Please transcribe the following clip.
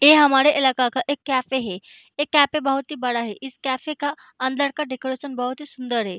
ये हमारा इलाके का एक कैफ़े है ये कैफ़े बहुत ही बड़ा है इस कैफ़े का अन्दर का डेकोरेशन बहुत ही सुन्दर है।